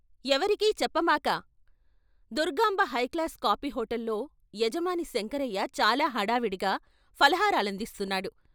ఎవరికీ చెప్పమాక Durgamba high class coffee హోటల్‌లో యజమాని శంకరయ్య చాలా హడావుడిగా ఫలహారాలందిస్తున్నాడు.